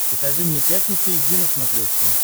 покажи мне пятница эйч ди на смотрешке